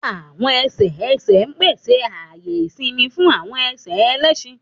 Àwọn ẹsẹ ẹsẹ pese aaye isinmi fun awọn ẹsẹ ẹlẹṣin.